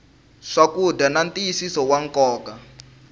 swakudya na ntiyisiso wa nkoka